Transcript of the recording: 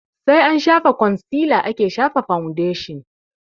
Sai an shafa kwansila ake shafa faundeshin